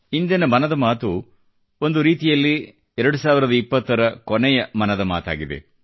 ಇಂದಿನ ಮನದ ಮಾತು ಒಂದು ರೀತಿಯಲ್ಲಿ 2020 ರ ಕೊನೆಯ ಮನದ ಮಾತಾಗಿದೆ